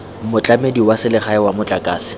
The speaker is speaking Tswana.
motlamedi wa selegae wa motlakase